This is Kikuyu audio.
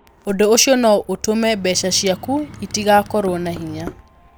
Ũndũ ũcio no ũtũme mbeca ciaku itigakorũo na hinya.